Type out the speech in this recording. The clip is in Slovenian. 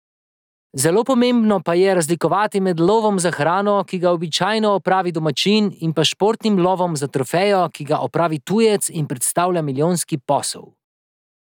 Zelo pomembno pa je razlikovati med lovom za hrano, ki ga običajno opravi domačin, in pa športnim lovom za trofejo, ki ga opravi tujec in predstavlja milijonski posel.